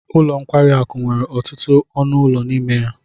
Ụlọ nkwari akụ nwere ọtụtụ ọnụ ụlọ n'ime ya